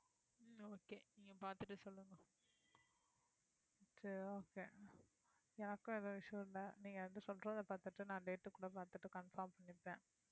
சரி okay எனக்கும் எந்த issue யும் இல்ல நீங்க வந்து சொல்றதே பார்த்துட்டு நான் date கூட பாத்துட்டு confirm பண்ணிடறேன்